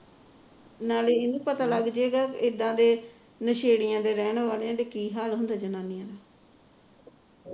ਨਾਲੇ ਇਹਨੂੰ ਪਤਾ ਲੱਗ ਜੇਗਾ ਇਦਾ ਦੇ ਨਸੇੜੀਆ ਦੇ ਰਹਿਣ ਵਾਲਿਆ ਦੇ ਕੀ ਹਾਲ ਹੁੰਦੇ ਨੇ